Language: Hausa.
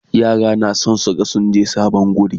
yara na da San su ga sun je sabon wuri